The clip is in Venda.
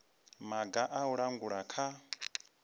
maga a u langula kha